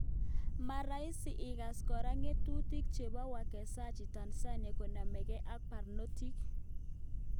Maraisi igas kora ngetutik chepo wekazaji Tanzania konamengee ak parnotik?